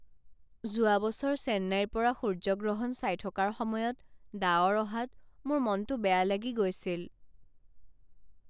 যোৱা বছৰ চেন্নাইৰ পৰা সূৰ্যগ্ৰহণ চাই থকাৰ সময়ত ডাৱৰ অহাত মোৰ মনটো বেয়া লাগি গৈছিল।